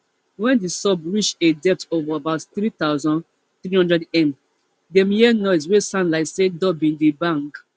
wen di sub reach a depth of about three thousand, three hundredm dem hear noise wey sound like say door bin dey bang